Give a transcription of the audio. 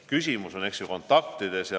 Küsimus on ju kontaktides.